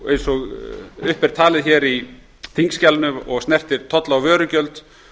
eins og talið er upp í þingskjalinu og snertir tolla og vörugjöld